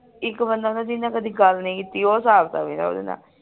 ਇਕ ਬੰਦਾ ਹੁੰਦੇ ਜਿਹਦੇ ਨਾਲ ਕਦੀ ਗੱਲ ਨਹੀਂ ਕੀਤੀ ਉਹ ਹਿਸਾਬ ਕਿਤਾਬ ਮੇਰਾ ਓਹਦੇ ਨਾਲ